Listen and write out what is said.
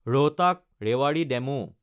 ৰহটাক–ৰেৱাৰী DEMU